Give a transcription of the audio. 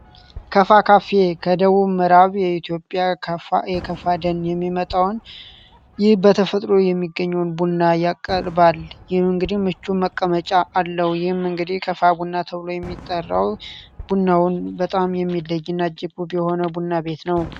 ከፋ ካፌ ከደቡብ ምዕራብ የኢትዮጵያ ከፋ የከፋ ደን የሚመጣውን ይህ በተፈጥሮ የሚገኙውን ቡና ያቀርባል። ይህ እንግዲህ ምቹ መቀመጫ አለው። ይህም እንግዲህ ከፋ ቡና ተብሎ የሚጠራው ቡናውም በጣም የሚለይ እና ቡና ቤት ነው።